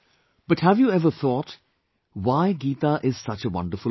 But have you ever thought why is Geeta such a wonderful Granth